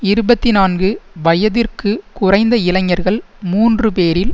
இருபத்தி நான்கு வயதிற்கு குறைந்த இளைஞர்கள் மூன்று பேரில்